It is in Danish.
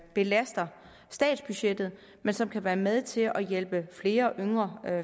belaster statsbudgettet men som kan være med til at hjælpe flere yngre